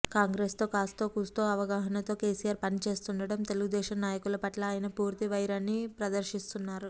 కాంగ్రెసుతో కాస్తో కూస్తో అవగాహనతో కెసిఆర్ పనిచేస్తుండగా తెలుగుదేశం నాయకుల పట్ల ఆయన పూర్తి వైరాన్ని ప్రదర్శిస్తున్నారు